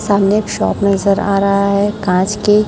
सामने एक शॉप नजर आ रहा है कांच की--